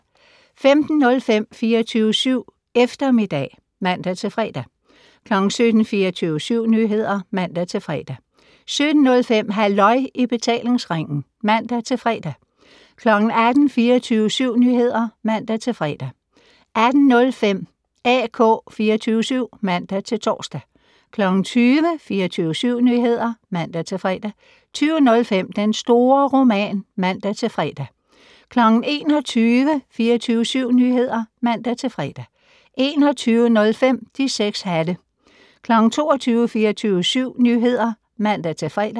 15:05: 24syv Eftermiddag (man-fre) 17:00: 24syv Nyheder (man-fre) 17:05: Halløj i betalingsringen (man-fre) 18:00: 24syv Nyheder (man-fre) 18:05: AK 24syv (man-tor) 20:00: 24syv Nyheder (man-fre) 20:05: Den store roman (man-fre) 21:00: 24syv Nyheder (man-fre) 21:05: De 6 hatte 22:00: 24syv Nyheder (man-fre)